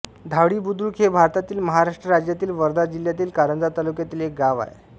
धावडीबुद्रुक हे भारतातील महाराष्ट्र राज्यातील वर्धा जिल्ह्यातील कारंजा तालुक्यातील एक गाव आहे